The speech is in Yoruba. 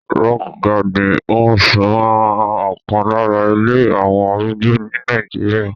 Rockgarden Homes máa ọkan lára ilé àwọn arúgbó ní Nàìjíríà.